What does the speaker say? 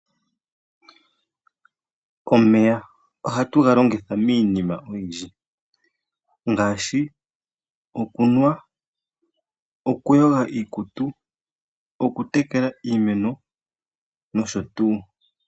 Omeya ohatu ga longitha miinima oyindji ngaashi: okunwa, okuyoga iikutu, okutekela iimeno nosho tuu.